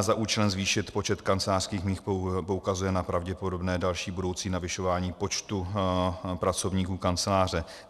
za účelem zvýšit počet kancelářských míst poukazuje na pravděpodobné další budoucí navyšování počtu pracovníků kanceláře.